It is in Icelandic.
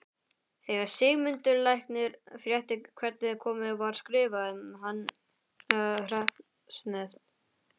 Þegar Sigmundur læknir frétti hvernig komið var skrifaði hann hreppsnefnd